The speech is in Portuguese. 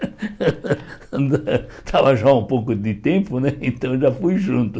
Estava já há um pouco de tempo né, então já fui junto.